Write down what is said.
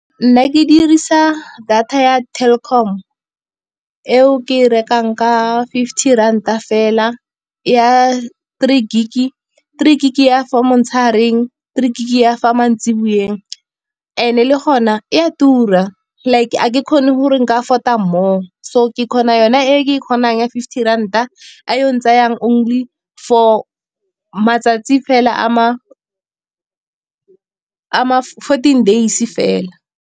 Nna ke dirisa data ya Telkom eo ke e rekang ka fifty ranta fela, ya three gig-e. Three gig-e ya for motshegareng, three gig ya fa mantsiboeng, and-e le ka gona e a tura. Like a ke kgone gore nka afford-a more, so ke kgona yona e ke e kgonang ya fifty ranta, e yo ntsayang only for matsatsi fela a ma fourteen days fela.